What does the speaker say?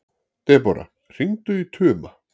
Debóra, hringdu í Tuma.